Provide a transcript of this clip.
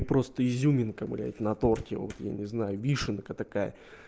просто изюминка блядь на торте вот я не знаю вишенка такая